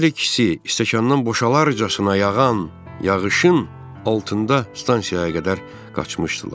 Hər ikisi stəkandan boşalarjasna yağan yağışın altında stansiyaya qədər qaçmışdılar.